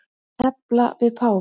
Að tefla við páfann